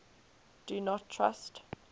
do not trust